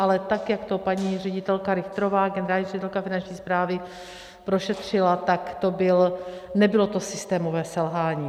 Ale tak jak to paní ředitelka Richterová, generální ředitelka Finanční správy, prošetřila, tak nebylo to systémového selhání.